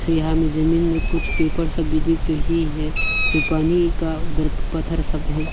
यहां मे जमीन में कुछ पेपर सब भी दिख रही हैं फिर पानी का उधर पत्थर सब भी है।